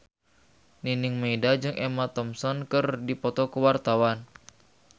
Nining Meida jeung Emma Thompson keur dipoto ku wartawan